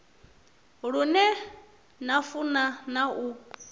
lune na funa na u